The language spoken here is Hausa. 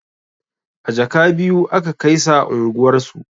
A jaka biyu aka kaisa unguwar su